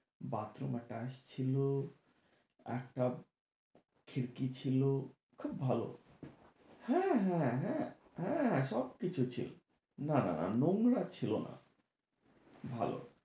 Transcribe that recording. bathroom আর tiles ছিলো, একটা খিড়কি ছিলো, খুব ভালো। হ্যাঁ হ্যাঁ হ্যাঁ, সব কিছু ছিলো। না না না নোংরা ছিলো না, ভালো।